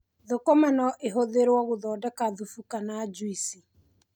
Thũkũma no ihũthĩrwo gũthondeka thubu kana njuici.